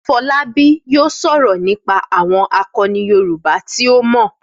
Fọlábí yóò sọ nípa àwọn àkọni Yorùbá tí ó mọ̀ nípa wọn.